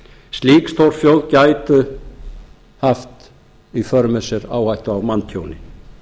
slík stórflóð gætu haft í för með sér áhættu á manntjóni